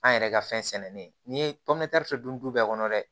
An yɛrɛ ka fɛn sɛnɛni n'i ye dun du bɛɛ kɔnɔ dɛ